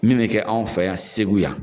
Min bɛ kɛ anw fɛ yan Segu yan.